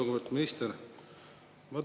Lugupeetud minister!